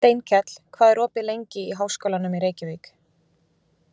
Steinkell, hvað er opið lengi í Háskólanum í Reykjavík?